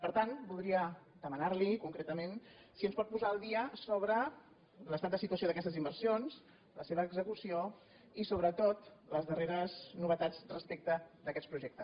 per tant voldria demanar li concretament si ens pot posar al dia sobre l’estat de situació d’aquestes inversions la seva execució i sobretot les darreres novetats respecte d’aquests projectes